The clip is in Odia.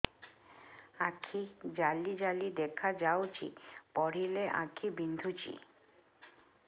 ଆଖି ଜାଲି ଜାଲି ଦେଖାଯାଉଛି ପଢିଲେ ଆଖି ବିନ୍ଧୁଛି